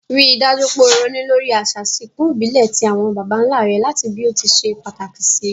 Rí dájú pe o ronú lórí àsà ìsinkù ìbílè ti àwon bàbánlá re làti bí o ti se pàtàkì sì